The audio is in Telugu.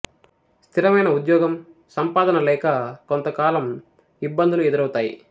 స్థిరమైన ఉద్యోగం సంపాదన లేక కొంత కాలం ఇబ్బందులు ఎదురౌతాయి